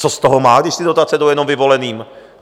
Co z toho má, když ty dotace jdou jenom vyvoleným?